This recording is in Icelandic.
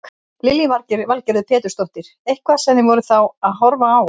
Lillý Valgerður Pétursdóttir: Eitthvað sem þið voruð þá að horfa á?